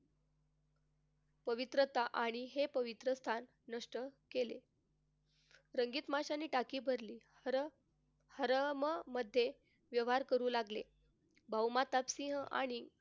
पवित्रता आणि हे पवित्र स्थान नष्ट केले. रंगीत माशांनी टाकी भरली खरं हरम मध्ये व्यवहार करू लागले. भाऊ सिंह आणि,